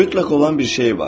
Mütləq olan bir şey var.